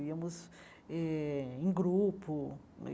Íamos eh em grupo.